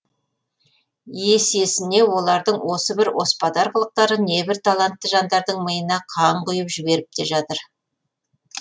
есесіне олардың осы бір оспадар қылықтары небір талантты жандардың миына қан құи ып жіберіп те жатыр